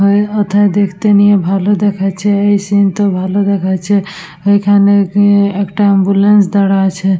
এই ও থায় দেখতে নিয়ে ভালো দেখাচ্ছে এই সিন -টা ভালো দেখাচ্ছে এখানে গিয়ে একটা অ্যাম্বুলেন্স দাঁড়া আছে।